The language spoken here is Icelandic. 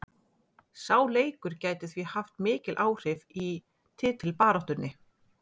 Sá leikur gæti því haft mikil áhrif í titilbaráttunni.